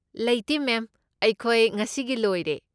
ꯂꯩꯇꯦ, ꯃꯦꯝ, ꯑꯩꯈꯣꯏ ꯉꯁꯤꯒꯤ ꯂꯣꯏꯔꯦ ꯫